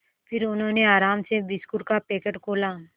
फिर उन्होंने आराम से बिस्कुट का पैकेट खोला